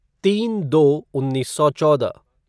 तीन दो उन्नीस सौ चौदह